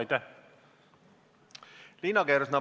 Liina Kersna, palun!